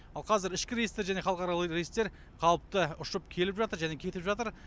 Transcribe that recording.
ал қазір ішкі рейстер және халықаралық рейстер қалыпты ұшып келіп жатыр және кетіп жатыр